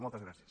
moltes gràcies